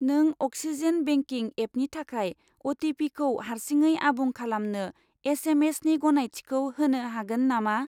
नों अक्सिजेन बेंकिं एपनि थाखाय अ.टि.फि. खौ हारसिङै आबुं खालामनो एस.एम.एस.नि गनायथिखौ होनो हागोन नामा?